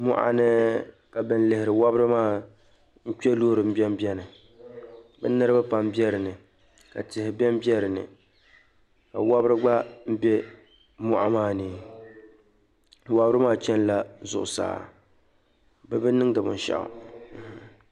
Mɔɣuni ka ban lihiri wɔbri maa kpɛ loori mbɛ mbɛni bi niriba pam bɛ dinni ka tihi bɛni bɛ dinni ka wɔbri gba bɛ mɔɣu maa ni wɔbri maa chɛn la zuɣusaa bibi niŋdi binshɛɣu.